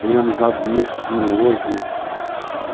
Tem amizades minhas que duram hoje.